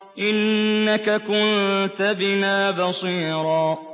إِنَّكَ كُنتَ بِنَا بَصِيرًا